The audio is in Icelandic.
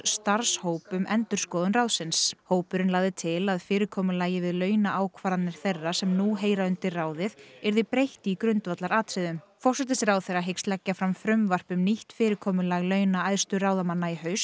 starfshóp um endurskoðun ráðsins hópurinn lagði til að fyrirkomulagi við launaákvarðanir þeirra sem nú heyra undir ráðið yrði breytt í grundvallaratriðum forsætisráðherra hyggst leggja fram frumvarp um nýtt fyrirkomulag launa æðstu ráðamanna í haust